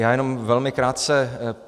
Já jenom velmi krátce.